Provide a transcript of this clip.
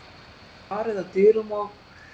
Það var barið að dyrum og